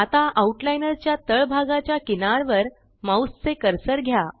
आता आउटलाइनर च्या तळ भागाच्या किनार वर माउस चे कर्सर घ्या